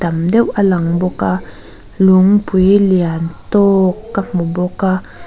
tam deuh a lang bawk a lungpui lian tâwk ka hmu bawk a.